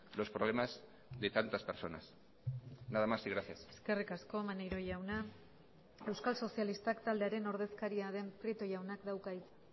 los problemas de tantas personas nada más y gracias eskerrik asko maneiro jauna euskal sozialistak taldearen ordezkaria den prieto jaunak dauka hitza